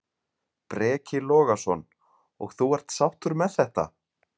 Breki Logason: Og þú er sáttur með þetta?